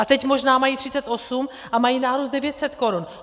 A teď možná mají 38 a mají nárůst 900 korun.